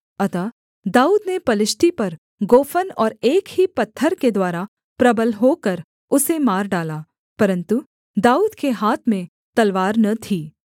अतः दाऊद ने पलिश्ती पर गोफन और एक ही पत्थर के द्वारा प्रबल होकर उसे मार डाला परन्तु दाऊद के हाथ में तलवार न थी